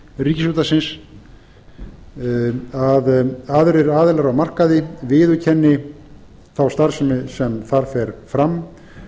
ríkisútvarpsins að aðrir aðilar á markaði viðurkenni þá starfsemi sem þar fer fram